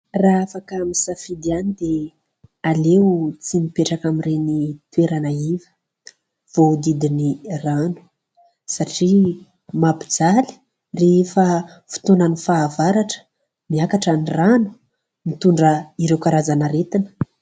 Raha afaka misafidy ihany dia aleo tsy mipetraka amin'ireny toerana iva voahodidina rano satria mampijaly rehefa fotoanan'ny fahavaratra ; miakatra ny rano, mitondra ireo karazana aretina.